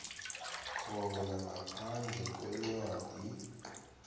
khona ngaphandle kwencwadi